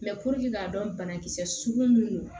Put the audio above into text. Mɛ purke k'a dɔn banakisɛ sugu min don